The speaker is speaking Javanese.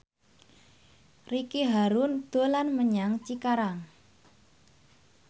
Ricky Harun dolan menyang Cikarang